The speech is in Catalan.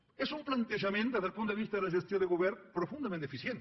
és un plantejament des del punt de vista de la gestió del govern profundament deficient